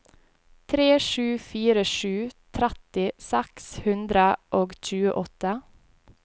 tre sju fire sju tretti seks hundre og tjueåtte